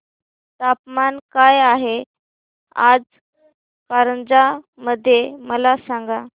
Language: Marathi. तापमान काय आहे आज कारंजा मध्ये मला सांगा